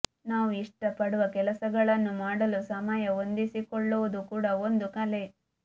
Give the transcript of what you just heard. ನಾವು ಇಷ್ಟಪಡುವ ಕೆಲಸಗಳನ್ನು ಮಾಡಲು ಸಮಯ ಹೊಂದಿಸಿಕೊಳ್ಳವುದು ಕೂಡ ಒಂದು ಕಲೆ